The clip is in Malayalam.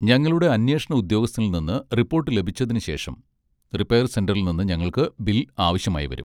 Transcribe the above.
ഞങ്ങളുടെ അന്വേഷണ ഉദ്യോഗസ്ഥനിൽ നിന്ന് റിപ്പോർട്ട് ലഭിച്ചതിന് ശേഷം, റിപ്പയർ സെന്ററിൽ നിന്ന് ഞങ്ങൾക്ക് ബിൽ ആവശ്യമായി വരും.